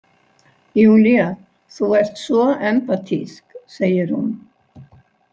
Júlía, þú ert svo empatísk, segir hún.